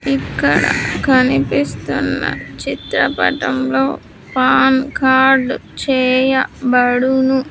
ఇక్కడ కనిపిస్తున్న చిత్రపటంలో పాన్ కార్డ్ చేయబడును.